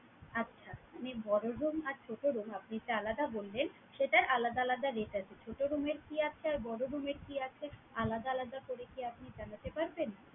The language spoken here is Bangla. আচ্ছা! মানে বড়ো room আর ছোটো room আপনি যেটা আলাদা বললেন সেটার আলাদা আলাদা rate আছে। ছোটো room এর কি আছে আর বড় room এর কি আছে আলাদা আলাদা করে কি আপনি জানাতে পারবেন?